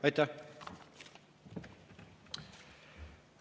Aitäh!